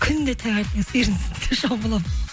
күнде таңертең сиырдың сүтіне шомыламын